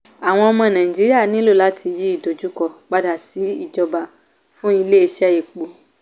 àwọn ọmọ naijiria nílò láti yí ìdojúkọ pada si ìjọba fún ilé iṣẹ́ epo.